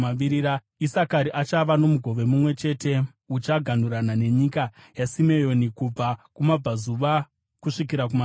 Isakari achava nomugove mumwe chete; uchaganhurana nenyika yaSimeoni kubva kumabvazuva kusvika kumavirira.